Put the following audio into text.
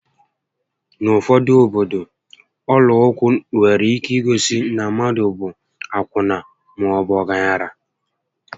N'ufodu obodo, ọla ụkwụ nwere ike igosi na mmadụ bụ akwụna maọbu ọgaranya